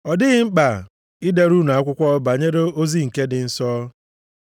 Ọ dịghị mkpa idere unu akwụkwọ banyere ozi nke ndị nsọ.